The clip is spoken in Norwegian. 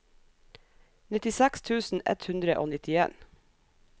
nittiseks tusen ett hundre og nittien